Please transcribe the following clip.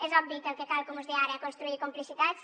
és obvi que el que cal com us deia ara és construir complicitats